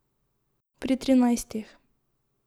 Pri trinajstih.